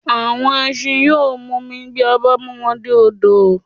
Àwọn ẹsin yóò mumi bí a bá mú wọn dé odò